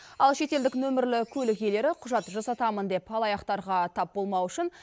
ал шетелдік нөмірлі көлік иелері құжат жасатамын деп алаяқтарға тап болмауы үшін